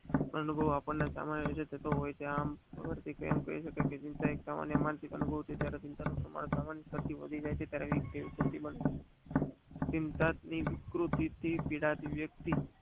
અનુભવ આપણે સમય રીતે થતો હોય છે. આમ કહી સકાય કે માનસિક અનુભવથી ચિંતા થી વિકૃતિ થી પીડાતી વક્તિ